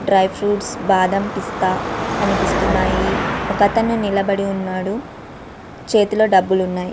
Dry fruits బాదం పిస్తా కనిపిస్తున్నాయి ఒక అతను నిలబడి ఉన్నాడు చెతిలో డబులు ఉన్నాయి.